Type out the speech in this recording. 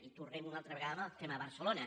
i tornem una al·tra vegada al tema de barcelona